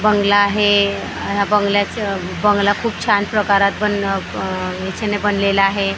बंगला आहे ह्या बंगल्याचे बंगला खूप छान प्रकारात बनणं अ दिशेने बनलेला आहे.